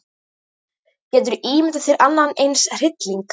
Geturðu ímyndað þér annan eins hrylling.